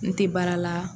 N tɛ baara la